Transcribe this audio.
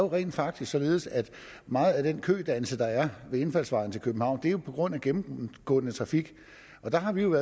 rent faktisk således at meget af den kødannelse der er ved indfaldsvejene til københavn er på grund af gennemgående trafik og der har vi jo